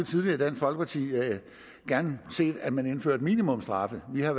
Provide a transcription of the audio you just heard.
gerne set at man indførte minimumsstraffe vi har